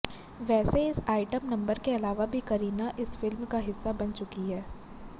वैसे इस item number के अलावा भी करीना इस फिल्म का हिस्सा बन चुकी हैं